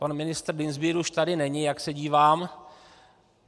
Pan ministr Dienstbier už tady není, jak se dívám.